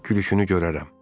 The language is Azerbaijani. Gülüşünü görərəm.